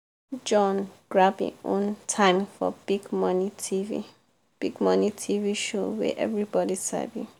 john grab im own time for big morning tv big morning tv show wey everybody sabi.